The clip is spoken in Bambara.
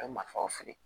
A bɛ marifaw fili